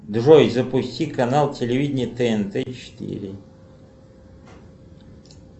джой запусти канал телевидения тнт четыре